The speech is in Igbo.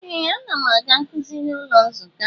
Ee! Ana m aga nkuzi n'ụlọ nzukọ.